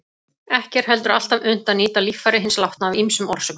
Ekki er heldur alltaf unnt að nýta líffæri hins látna af ýmsum orsökum.